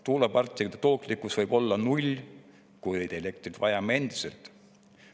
Tuuleparkide tootlikkus võib olla null, kuid elektrit vajame endiselt.